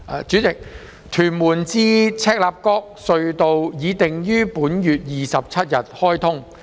主席，屯門至赤鱲角隧道已定於本月27日開通。